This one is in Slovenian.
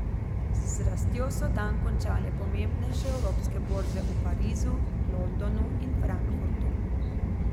Z rastjo so dan končale pomembnejše evropske borze v Parizu, Londonu in Frankfurtu.